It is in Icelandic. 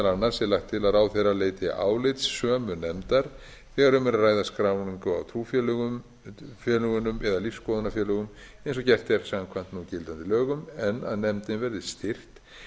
annars er lagt til að ráðherra leiti álits sömu nefndar þegar um er að ræða skráningu á trúfélögum eða lífsskoðunarfélögum eins og gert er samkvæmt núgildandi lögum en að nefndin verði styrkt